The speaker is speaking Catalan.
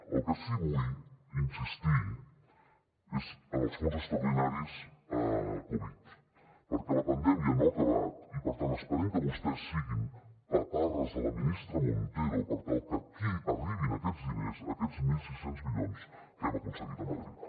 en el que sí que vull insistir és en els fons extraordinaris covid perquè la pandèmia no ha acabat i per tant esperem que vostès siguin paparres de la ministra montero per tal que aquí arribin aquests diners aquests mil sis cents milions que hem aconseguit a madrid